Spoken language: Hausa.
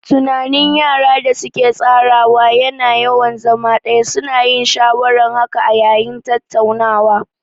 Tunanin yara da su ke tsara ya na yawan zama ɗaya, su na yin shawaran haka a yayin tattaunawa